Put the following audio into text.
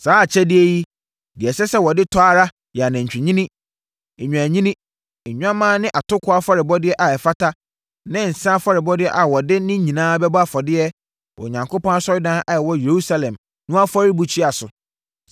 Saa akyɛdeɛ yi, deɛ ɛsɛ sɛ wɔde tɔ ara yɛ anantwinini, nnwennini, nnwammaa ne atokoɔ afɔrebɔdeɛ a ɛfata ne nsã afɔrebɔdeɛ a wɔde ne nyinaa bɛbɔ afɔdeɛ wɔ Onyankopɔn asɔredan a ɛwɔ Yerusalem no afɔrebukyia so.